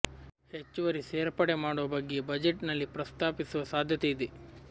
ಹೆಚ್ಚುವರಿ ಸೇರ್ಪಡೆ ಮಾಡುವ ಬಗ್ಗೆ ಬಜೆಟ್ ನಲ್ಲಿ ಪ್ರಸ್ತಾಪಿಸುವ ಸಾಧ್ಯತೆ ಇದೆ